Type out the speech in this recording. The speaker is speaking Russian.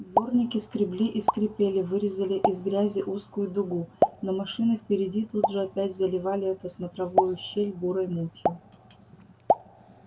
дворники скребли и скрипели вырезали из грязи узкую дугу но машины впереди тут же опять заливали эту смотровую щель бурой мутью